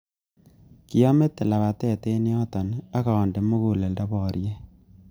Kiamete lapatet eng yotok ak ande muguleldo boriet